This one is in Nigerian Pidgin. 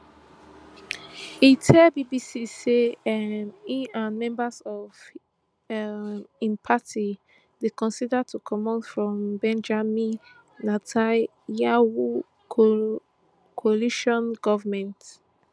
e tell bbc say um im and members of um im party dey consider to comot from benjamin netanyahu coalition goment